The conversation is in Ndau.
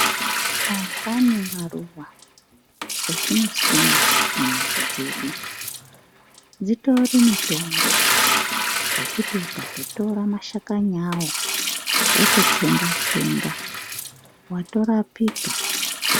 Antani maruwa, etinosima mumizi dzedu, dzitiri mitombo, ngekuti ukatotora mashakani awo, wototsenga-tsenga, watorapika.